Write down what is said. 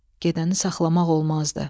Gedəni saxlamaq olmazdı.